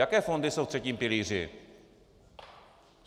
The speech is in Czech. Jaké fondy jsou ve třetím pilíři?